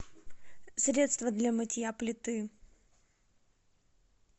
средство для мытья плиты